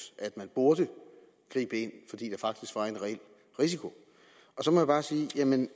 at man burde gribe ind fordi der faktisk var en reel risiko så må jeg bare sige